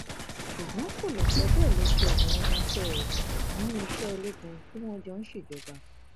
ṣùgbọn kò lè sọ bẹẹ lójú àwọn ọmọọṣẹ rẹ nínú iṣẹ ológun tí wọn jọ ń ṣèjọba